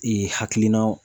hakilinaw